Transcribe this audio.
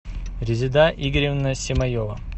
резеда игоревна семаева